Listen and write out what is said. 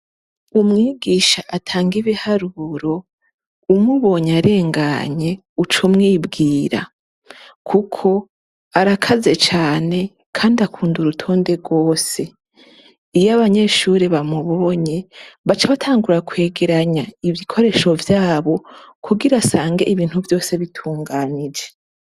Umwigisha atanga ibiharuro umubonye arenganye uca umubwira kuko arakaze cane kandi akunda urutonde rwose iyo abanyeshure bamubonye baca batangura kwegeranya ibikoresho vyabo kugira asange ibintu vyose bitunganije